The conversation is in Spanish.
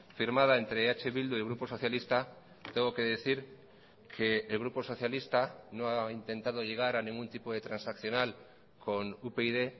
firmada entre eh bildu y grupo socialista tengo que decir que el grupo socialista no ha intentado llegar a ningún tipo de transaccional con upyd